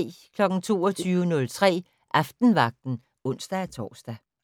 22:03: Aftenvagten (ons-tor)